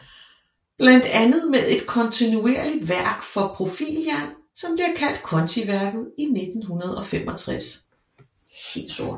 Blandt andet med et kontinuerligt værk for profiljern som bliver kaldt kontiværket i 1965